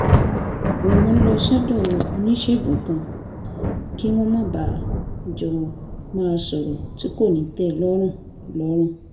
òun ń lọ sọ́dọ̀ oníṣègùn kan kí wọ́n má bàa jọ máa sọ̀rọ̀ tí kò ní tẹ lọ́rùn lọ́rùn